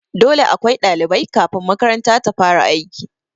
Dole akwai ɗalibai kafin makaranta ta fara aiki